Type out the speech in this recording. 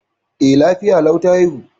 E, lafiya lau ta haihu.